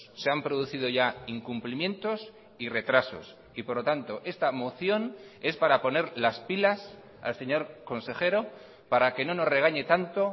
se han producido ya incumplimientos y retrasos y por lo tanto esta moción es para poner las pilas al señor consejero para que no nos regañe tanto